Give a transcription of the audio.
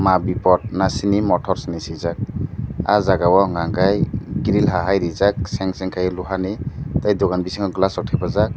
maa bipot masini motors henui swijak ahh jaaga o enka kai grill hai reejak mechang kaike luha ni tai dugan bisingo glass rok thapajak.